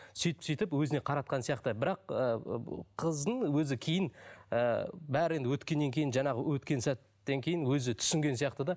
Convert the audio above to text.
сөйтіп сөйтіп өзіне қаратқан сияқты бірақ ыыы қыздың өзі кейін і бәрі енді өткеннен кейін жаңағы өткен сәттен кейін өзі түсінген сияқты да